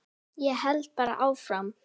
Ég held bara áfram.